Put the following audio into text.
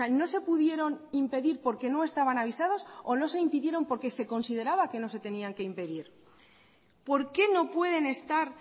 no se pudieron impedir porque no estaban avisados o no se impidieron porque se consideraba que no se tenían que impedir por qué no pueden estar